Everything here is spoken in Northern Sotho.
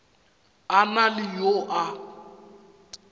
a na le yo a